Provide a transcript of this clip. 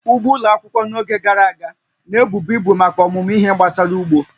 Ugbo ụlọ akwụkwọ n'oge gara aga, na-ebubu ibu maka ọmụmụ ihe gbasara ugbo